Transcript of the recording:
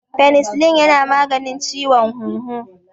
Penicillin yana maganin ciwon huhu.